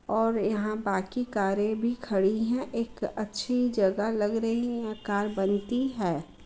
और यहाँ बाकि कारे भी खड़ी हैं। एक अच्छी जगह लग रही है। यहाँ कार बनती है।